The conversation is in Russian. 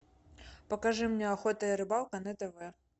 покажи мне охота и рыбалка на тв